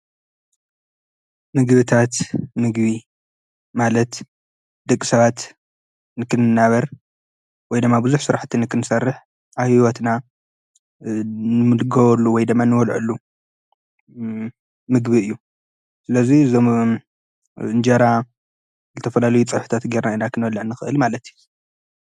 ምግብታት ምግቢ ማለት ድቂ ሰባት ንክንእናበር ወይ ደማ ብዙኅ ሥራሕቲ ንክንሠርሕ ኣሕይወትና ምልገወሉ ወይ ደማ ንበልዐሉ ምግቢ እዩ ስለዙይ ዘም እንጀራ ዝተፈላለ ዩ ጸብሕታት ጌይና ኢና ኽንበልዕ ንክእል ማለት እዩ ::